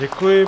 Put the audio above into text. Děkuji.